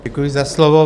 Děkuji za slovo.